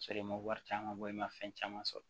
Sɔrɔ i ma wari caman bɔ i ma fɛn caman sɔrɔ